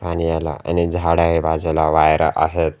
आणि या ठिकाणी झाड आहे बाजूला वायर आहेत.